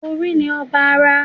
Orí ni ọba ara